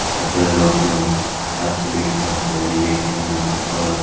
ಅದರಲ್ಲಿ ಒಬ್ರು ಆಚೆ ವೇಟ್ ಮಾಡುತ್ತಿದ್ದಾರೆ ಎ_ಟಿ_ಎಂ ಅಲ್ ದುಡ್ಡು ತೊಗೋಳಕ್ಕೆ.